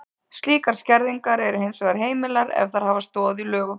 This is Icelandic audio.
Slíkar skerðingar eru hins vegar heimilar ef þær hafa stoð í lögum.